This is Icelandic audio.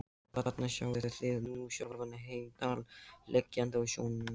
Og þarna sjáið þið nú sjálfan Heimdall liggjandi á sjónum.